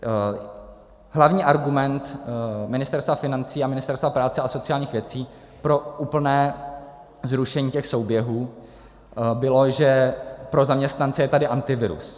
Hlavní argument Ministerstva financí a Ministerstva práce a sociálních věcí pro úplné zrušení těch souběhů byl, že pro zaměstnance je tady Antivirus.